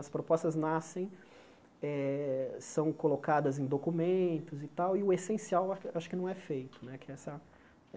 As propostas nascem, eh são colocadas em documentos e tal, e o essencial a acho que não é feito né. Que é essa